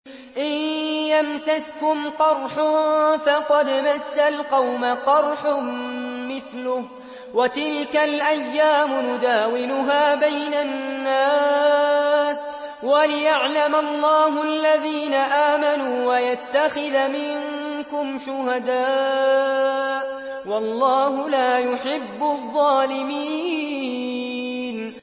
إِن يَمْسَسْكُمْ قَرْحٌ فَقَدْ مَسَّ الْقَوْمَ قَرْحٌ مِّثْلُهُ ۚ وَتِلْكَ الْأَيَّامُ نُدَاوِلُهَا بَيْنَ النَّاسِ وَلِيَعْلَمَ اللَّهُ الَّذِينَ آمَنُوا وَيَتَّخِذَ مِنكُمْ شُهَدَاءَ ۗ وَاللَّهُ لَا يُحِبُّ الظَّالِمِينَ